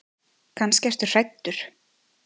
Kannski ertu hræddur.